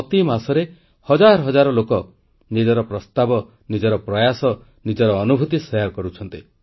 ପ୍ରତି ମାସରେ ହଜାର ହଜାର ଲୋକ ନିଜର ପ୍ରସ୍ତାବ ନିଜର ପ୍ରୟାସ ନିଜର ଅନୁଭୁତି ଶେୟାର କରୁଛନ୍ତି